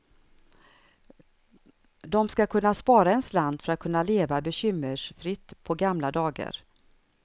De ska kunna spara en slant för att kunna leva bekymmersfritt på gamla dagar.